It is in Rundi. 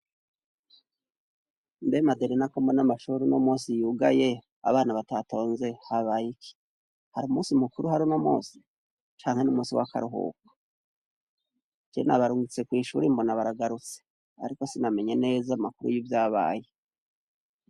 Mbe Maderena ko mbona amashure uno munsi yugaye abana batatonze habayiki ? Hari umunsi mukuru uhari uno munsi ? Canke n'umusi w'akaruhuko ? Je nabarungitse kw'ishuri mbona baragarutse ariko sinamenye neza amakuru y'ivyabaye.